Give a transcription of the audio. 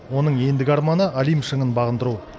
оның ендігі арманы олимп шыңын бағындыру